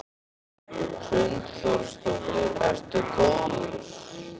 Hrund Þórsdóttir: Ertu góður?